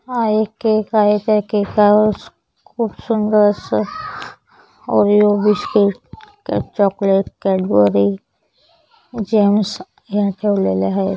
हा एक केक आहे त्या केकावर खूप सुंदर अस Oreo biscuit chocolate Cadbury Gems या ठेवलेल्या आहेत.